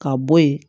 Ka bɔ yen